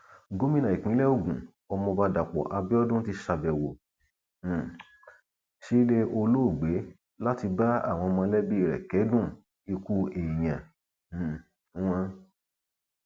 gómìnà ìpínlẹ ogun ọmọọba dàpọ abiodun ti ṣàbẹwò um sílẹ olóògbé láti bá àwọn mọlẹbí rẹ kẹdùn ikú èèyàn um wọn